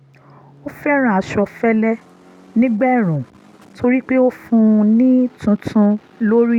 ó fẹ́ràn aṣọ fẹ́lẹ́ nígbà ẹ̀ẹ̀rùn torí pé ó fún un ní túntún lórí